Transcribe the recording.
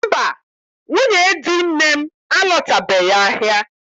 Mba, nwunye di nne m alọtabeghị ahịa